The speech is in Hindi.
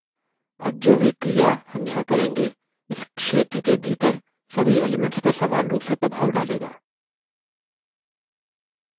अब जो भी क्रिया हम यहाँ करेंगे इस क्षेत्र के भीतर सभी elements पर समान रूप से प्रभाव डालेगा